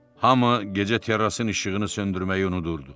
Hamı gecə terrasının işığını söndürməyi unudurdu.